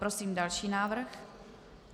Prosím další návrh.